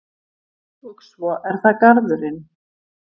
Og svo er það garðurinn.